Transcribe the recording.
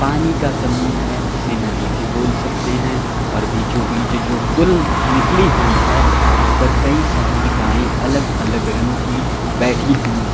पानी का समूह है जिसे नदी भी बोल सकते हैं और बीचो बीच जो पुल निकली हुई है उस पर कई सारी गाये अलग अलग रंग की बैठी हुई है।